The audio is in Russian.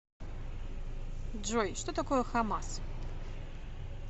джой что такое хамас